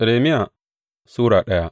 Irmiya Sura daya